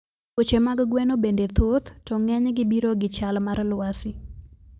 Tuoche mag gweno bende thoth to ng'enygi biro gi chal mar lwasi